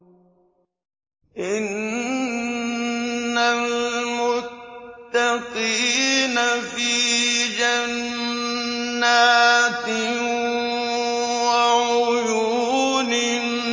إِنَّ الْمُتَّقِينَ فِي جَنَّاتٍ وَعُيُونٍ